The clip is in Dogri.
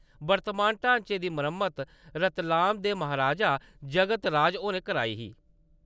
वर्तमान ढांचे दी मरम्मत रतलाम दे महाराजा जगत राज होरें कराई ही।